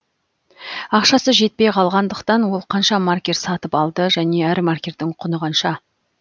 ақшасы жетпей қалғандықтан ол қанша маркер сатып алды және әр маркердің құны қанша